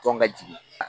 Tɔn ka jigin